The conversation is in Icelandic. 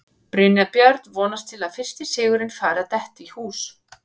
Brynjar Björn vonast til að fyrsti sigurinn fari að detta í hús.